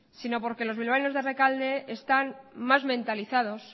sino por que los bilbaínos de rekalde están más mentalizados